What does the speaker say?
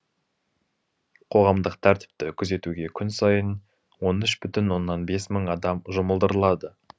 қоғамдық тәртіпті күзетуге күн сайын он үш бүтін оннан бес мың адам жұмылдырылады